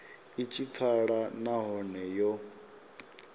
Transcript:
i tshi pfala nahone yo